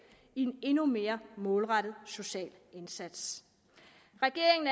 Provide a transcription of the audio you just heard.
i en endnu mere målrettet social indsats regeringen